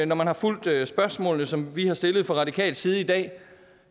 når man har fulgt spørgsmålene som vi har stillet fra radikal side i dag